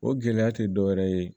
O gɛlɛya tɛ dɔwɛrɛ ye